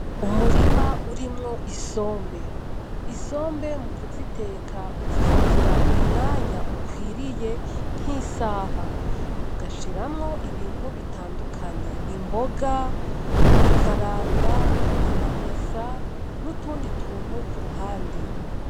Umurima urimwo isombe, isombe mukuziteka uzifatira umwanya ukwiriye nk'isaha ugashiramwo ibintu bitandukanye imboga ikaranga amamesa n'utundi tuntu ku ruhande.